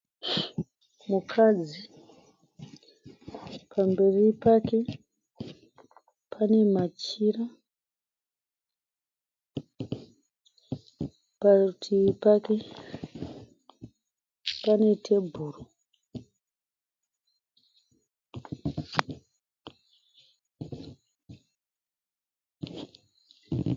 Mukadzi. Pamberi pake pane machira. Parutivi pake pane tebhuro.